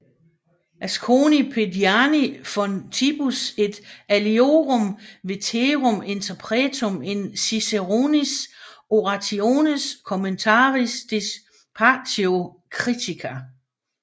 Asconii Pediani fontibus et aliorum veterum interpretum in Ciceronis orationes commentariis disputatio critica